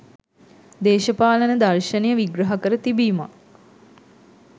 දේශපාලන දර්ශනය විග්‍රහ කර තිබීමක්